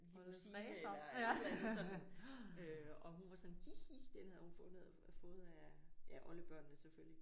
Limousine eller et eller andet sådan. Øh og hun var sådan hi hi den havde hun fundet fået af ja oldebørnene selvfølgelig